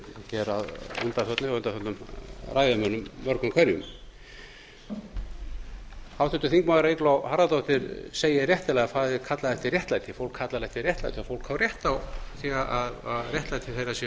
og undanförnum ræðumönnum mörgum hverjum háttvirtir þingmenn eygló harðardóttir segir réttilega að það eigi að kalla eftir réttlæti fólk kallar eftir réttlæti og fólk á rétt á því réttlæti þeirra sé